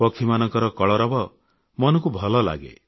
ପକ୍ଷୀମାନଙ୍କ କଳରବ ମନକୁ ଭଲ ଲାଗେ